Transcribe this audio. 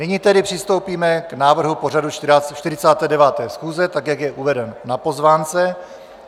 Nyní tedy přistoupíme k návrhu pořadu 49. schůze, tak jak je uveden na pozvánce.